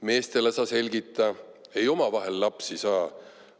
Meestele sa selgita: ei omavahel lapsi saa.